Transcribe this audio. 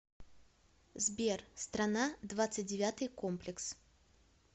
сбер страна двадцать девятый комплекс